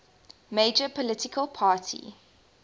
major political party